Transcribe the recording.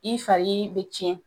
I fali i be cɛn